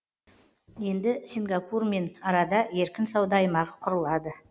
енді сингапурмен арада еркін сауда аймағы құрылады